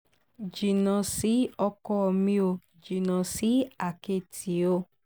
jìnnà sí ọkọ mi ò jìnnà sí àkẹ́tì o